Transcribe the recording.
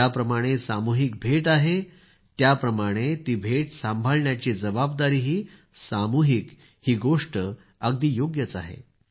ज्याप्रमाणे सामूहिक भेट आहे त्याप्रमाणे ती भेट सांभाळण्याची जबाबदारीही सामूहिक ही गोष्ट तर अगदी योग्य आहे